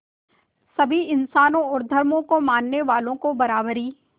सभी इंसानों और धर्मों को मानने वालों को बराबरी